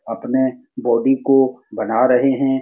अपने बॉडी को बना रहे है।